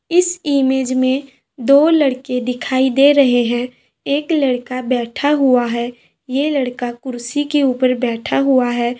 इस इमेज में दो लड़के दिखाई दे रहे हैं एक लड़का बैठा हुआ है ये लड़का कुर्सी के ऊपर बैठा हुआ है।